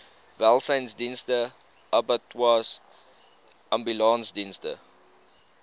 welsynsdienste abattoirs ambulansdienste